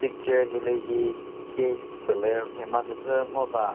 ture hilühi cave pülü rhema küzü ngova.